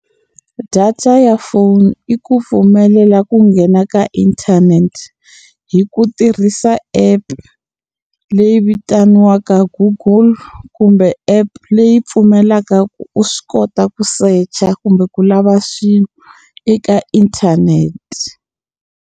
Data ya phone i ku pfumelela ku nghena ka inthanete hi ku tirhisa app leyi vitaniwaka Google kumbe app leyi pfumelaka ku u swi kota ku secha kumbe ku lava swilo eka inthanete.